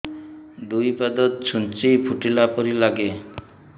ଦୁଇ ପାଦ ଛୁଞ୍ଚି ଫୁଡିଲା ପରି ଲାଗେ